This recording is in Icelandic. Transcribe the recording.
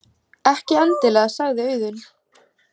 Ekki endilega, sagði Auðunn.